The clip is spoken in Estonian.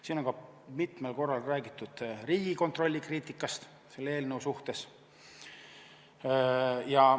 Siin on mitmel korral räägitud Riigikontrolli kriitikast selle eelnõu suhtes.